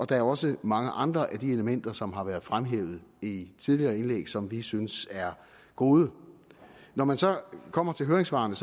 der er også mange andre af de elementer som har været fremhævet i tidligere indlæg som vi synes er gode når man så kommer til høringssvarene